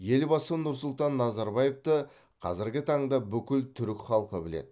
елбасы нұрсұлтан назарбаевты қазіргі таңда бүкіл түрік халқы біледі